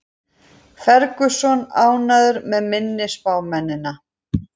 Ferguson ánægður með minni spámennina